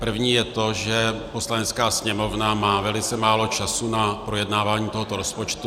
První je to, že Poslanecká sněmovna má velice málo času na projednávání tohoto rozpočtu.